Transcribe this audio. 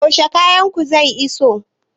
Yaushe kayan ku zai iso?